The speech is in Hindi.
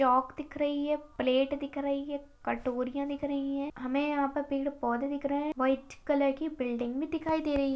चॉक दिख रही है प्लेट दिख रही है कटोरियाँ दिख रही है हमें यहाँ पे पेड-़ पौधे दिख रहे है व्हाइट कलर की बिल्डिंग भी दिखाई दे रही--